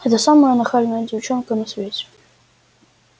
это самая нахальная девчонка на свете